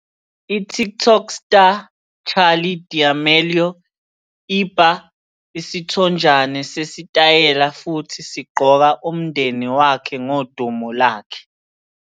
"I-TikTok Star Charli D'Amelio Iba Isithonjana Sesitayela Futhi Sigqoka Umndeni Wakhe Ngodumo Lakhe".